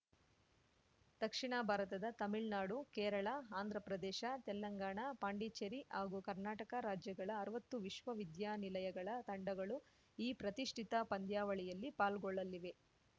ದಕ್ಷಿಣ ಭಾರತದ ತಮಿಳ್ನಾಡು ಕೇರಳ ಆಂಧ್ರಪ್ರದೇಶ ತೆಲಂಗಾಣ ಪಾಂಡಿಚೇರಿ ಹಾಗೂ ಕರ್ನಾಟಕ ರಾಜ್ಯಗಳ ಅರ್ವತ್ತು ವಿಶ್ವವಿದ್ಯಾನಿಲಯಗಳ ತಂಡಗಳು ಈ ಪ್ರತಿಷ್ಠಿತ ಪಂದ್ಯಾವಳಿಯಲ್ಲಿ ಪಾಲ್ಗೊಳ್ಳಲಿವೆ